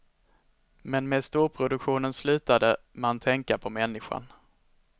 Men med storproduktionen slutade man tänka på människan.